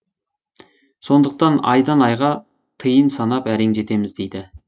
сондықтан айдан айға тиын санап әрең жетеміз дейді